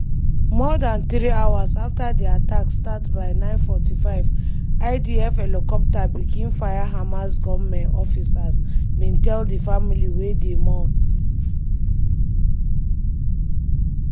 more dan three hours afta di attack start by09:45 idf helicopter begin fire hamas gunmen officers bin tell di family wey dey mourn.